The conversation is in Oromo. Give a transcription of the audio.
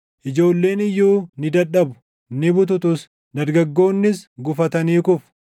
Ijoolleen iyyuu ni dadhabu; ni bututus; dargaggoonnis gufatanii kufu;